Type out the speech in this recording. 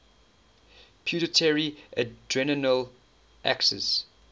pituitary adrenal axis